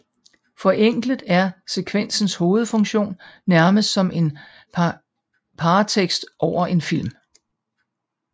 Forenklet er sekvensens hovedfunktion nærmest som en paratekst over en film